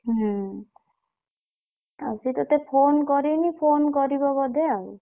ହୁଁ ଆଉ ସିଏ ତତେ phone କରିନି phone କରିବ ବୋଧେ ଆଉ।